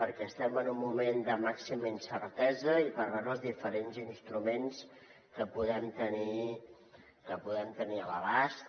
perquè estem en un moment de màxima incertesa i per veure els diferents instruments que podem tenir a l’abast